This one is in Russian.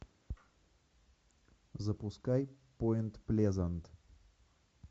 запускай поинт плезант